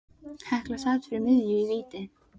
Hekla sat fyrir miðju í víti.